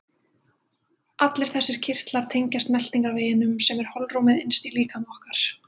Allir þessir kirtlar tengjast meltingarveginum sem er holrúmið innst í líkama okkar.